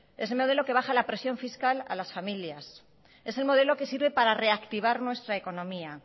es el modelo que baja la presión fiscal a las familias es el modelo que sirve para reactivar nuestra economía